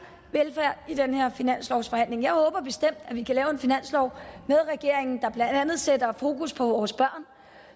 velfærd i den her finanslovsforhandling jeg håber bestemt at vi kan lave en finanslov med regeringen der blandt andet sætter fokus på vores børn